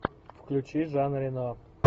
включи жан рено